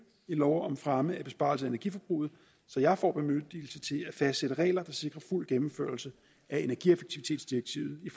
i lov om fremme af besparelser i energiforbruget så jeg får bemyndigelse til at fastsætte regler der sikrer fuld gennemførelse af energieffektivitetsdirektivet i